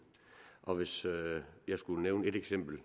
og hvis jeg skulle nævne et eksempel i